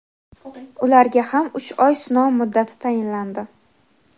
ularga ham uch oy sinov muddati tayinlandi.